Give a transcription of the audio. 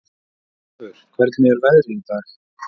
Tarfur, hvernig er veðrið í dag?